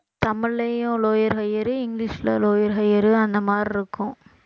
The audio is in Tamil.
தமிழ்லயும் lower, higher இங்கிலிஷ்ல lower, higher அந்த மாதிரி இருக்கும்